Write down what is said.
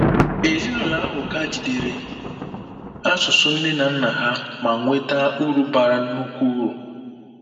Ezinụlọ ahụ ka jidere asụsụ nne na nna ha ma nweta uru bara nnukwu uru.